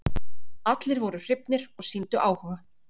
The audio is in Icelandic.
Allir voru hrifnir og sýndu áhuga.